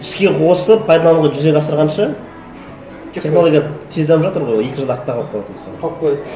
іске қосып пайдалануға жүзеге асырғанша технология тез дамып жатыр ғой екі жылда артта қалып қалады мысалы қалып қояды